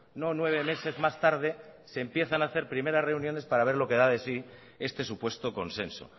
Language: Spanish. no nueve meses más tarde se empiezan a hacer primeras reuniones para ver lo que da de sí este supuesto consenso